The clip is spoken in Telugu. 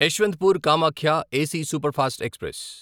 Yesvantpur Kamakhya AC superfast express